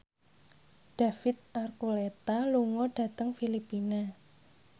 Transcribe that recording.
David Archuletta lunga dhateng Filipina